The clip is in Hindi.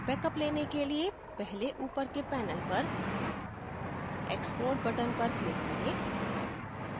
बेकअप लेने के लिए पहले ऊपर के panel पर export button पर click करें